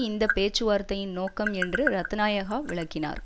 இந்த பேச்சுவார்த்தையின் நோக்கம் என்று ரத்னாயகா விளக்கினார்